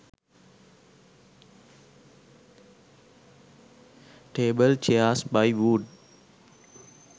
table chairs by wood